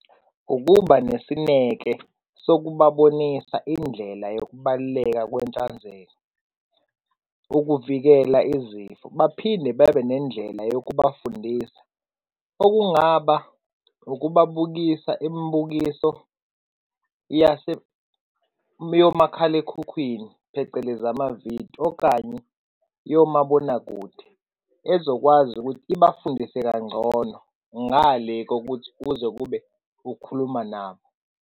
Ukuba nesineke sokubabonisa indlela yokubaluleka kwenhlanzeko ukuvikela izifo. Baphinde bebenendlela yokubafundisa, okungaba ukubabukisa imibukiso yase yomakhalekhukhwini, phecelezi amavidiyo okanye yomabonakude, ezokwazi ukuthi ibafundise kangcono ngale kokuthi kuze kube ukukhuluma nabo.